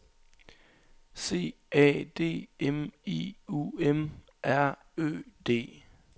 C A D M I U M R Ø D